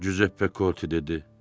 Cüzeppe Korte dedi.